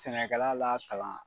Sɛnɛkɛla la kalan.